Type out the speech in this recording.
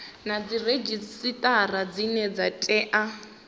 na dziredzhisitara dzine dza tea